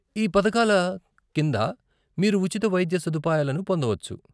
ఈ పథకాల కింద మీరు ఉచిత వైద్య సదుపాయాలను పొందవచ్చు.